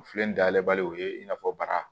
O filɛ nin dayɛlɛ bali o ye i n'a fɔ bara